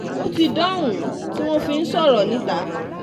ó ti dohun tí wọ́n fi ń sọ̀rọ̀ um níta